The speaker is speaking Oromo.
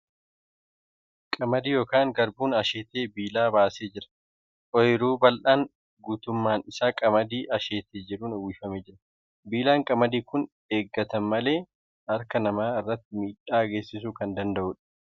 Qamadiin yookan garbuun asheetee biilaa baasee jira. Ooyiruu bal'aan guutuummaan isaa qamadii asheetee jiruun uwwifamee jira . Biillaan qamadii kun eeggatan malee harka namaa irratti miidhaa geessisuu kan danda'uudha .